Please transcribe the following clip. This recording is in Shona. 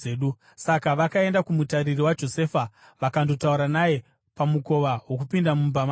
Saka vakaenda kumutariri waJosefa vakandotaura naye pamukova wokupinda mumba make.